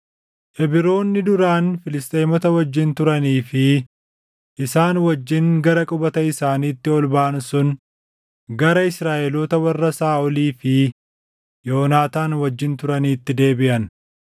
Ibroonni duraan Filisxeemota wajjin turanii fi isaan wajjin gara qubata isaaniitti ol baʼan sun gara Israaʼeloota warra Saaʼolii fi Yoonaataan wajjin turaniitti deebiʼan.